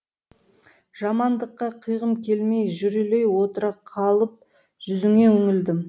жамандыққа қиғым келмей жүрелей отыра қалып жүзіңе үңілдім